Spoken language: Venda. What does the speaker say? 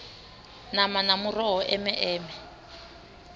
nama na muroho eme eme